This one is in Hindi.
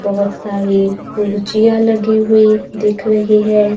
बहोत सारी कुर्चिया लगी हुई दिख रही हैं।